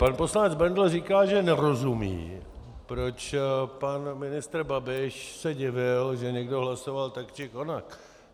Pan poslanec Bendl říká, že nerozumí, proč pan ministr Babiš se divil, že někdo hlasoval tak či onak.